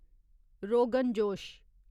rogan josh